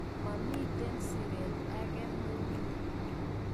Momiten siret age neuni?